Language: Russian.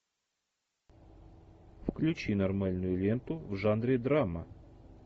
включи нормальную ленту в жанре драма